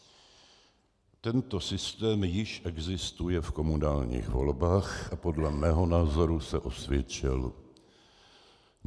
Tento systém již existuje v komunálních volbách a podle mého názoru se osvědčil.